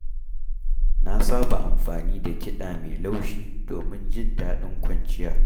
Na saba amfani da kiɗa mai laushi domin jin daɗin kwanciya.